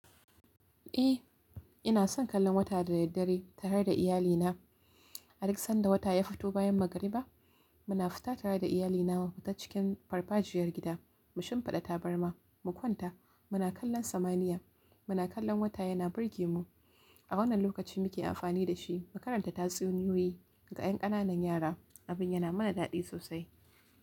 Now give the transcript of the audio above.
Eh, ina son kallon wata da daddare tare da iyalina. Har sanda wata ya fito bayan magariba, muna fita tare da iyalina ta cikin farfajiyar gida, mushinfada tabarma, mukwanta, muna kallon samaniya, muna kallon wata yana burge mu. A wannan lokaci muke amfani da shi mu karanta tatsuniyoyi ga ƴan ƙananan yara. Abin yana mana daɗi sosai.